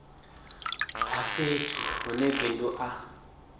a fhethu hune bindu a